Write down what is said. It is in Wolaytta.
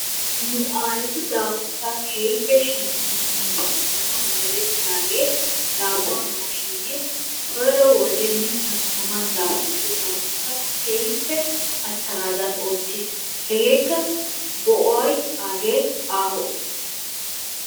Nu aayetu daafurssaa keehippe shemppissanawu merettiraagee daabbuwa maashinee koyro wode mittan taman daafurido daafurssaa keehippe attanaadan oottiis. Hegeekka go'oy aagee aaho.